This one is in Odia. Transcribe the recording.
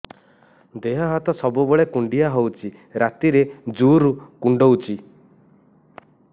ଦେହ ହାତ ସବୁବେଳେ କୁଣ୍ଡିଆ ହଉଚି ରାତିରେ ଜୁର୍ କୁଣ୍ଡଉଚି